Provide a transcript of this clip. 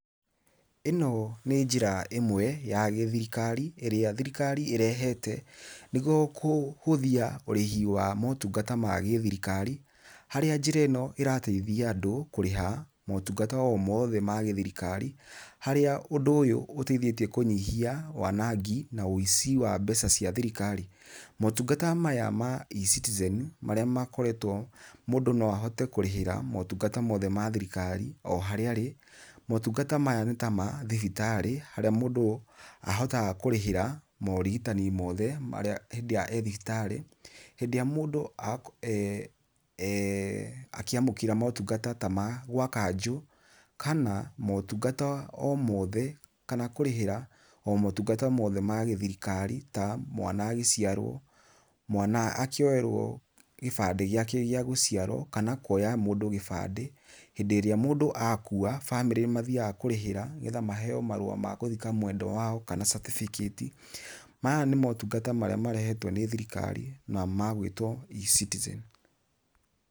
Ĩno nĩ njĩra ĩmwe ya gĩ-thirikari ĩrĩa thirikari ĩrehete, nĩguo kũhũthia ũrĩhĩ wa motungata ma gĩ-thirikari, harĩa njĩra ĩno ĩrateithia andũ kũrĩha motungata o mothe ma gĩ-thirikari harĩa ũndũ ũyũ ũteithĩtie kũnyihia wanangi na ũici wa mbeca cia thirikari. Motungata maya ma eCitizen marĩa makoretwo mũndũ no ahote kũrĩhĩra motungata mothe ma thirikari o haria arĩ. Motungata maya nĩ ta ma thibitarĩ, harĩ mũndũ ahotaga kũrĩhĩra morigitani mothe hĩndĩ ĩrĩa ee thibitarĩ. Hĩndĩ ĩrĩa mũndũ eeh akĩamũkĩra motungata ta ma gwa kanjũ, kana motungata o mothe kana kũrĩhĩra o motungata mothe ma gĩ-thirikari ta mwana agĩciarwo, mwana akĩoyerwo kĩbandĩ gĩake gĩa gũciarwo kana kuoya mũndũ kĩbandĩ, hĩndĩ ĩrĩa mũndũ akua, bamĩrĩ nĩ mathiaga kũrĩhĩra nĩgetha maheyo marũa ma gũthĩka mwendwa wao kana certificate. Maya nĩ motungata marĩa marehetwo nĩ thirikari na magwĩtwo eCitizen.